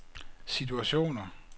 situationer